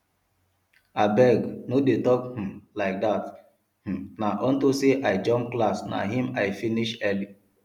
abeg no dey talk um like dat um na unto say i jump class na im i finish early